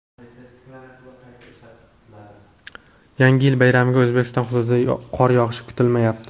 Yangi yil bayramiga O‘zbekiston hududida qor yog‘ishi kutilmayapti.